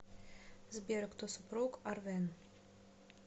сбер кто супруг арвен